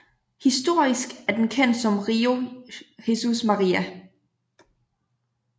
Historisk er den kendt som Rio Jesus Maria